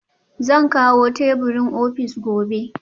Zan kawo teburin ofis gobe